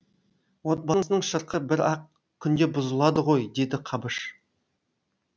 отбасының шырқы бір ақ күнде бұзылады ғой деді қабыш